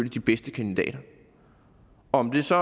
de bedste kandidater om det så